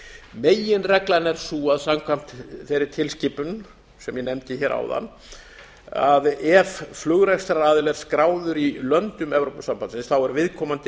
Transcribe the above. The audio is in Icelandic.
meginreglan er sú að samkvæmt þeirri tilskipun sem ég nefndi hér áðan ef flugrekstraraðili skráður í löndum evrópusambandsins er viðkomandi